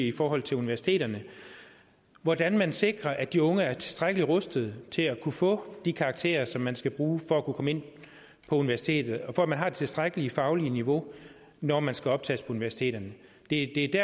i forhold til universiteterne hvordan man sikrer at de unge er tilstrækkelig rustet til at kunne få de karakterer som man skal bruge for at kunne komme ind på universitetet og for at man har det tilstrækkelige faglige niveau når man skal optages på universiteterne det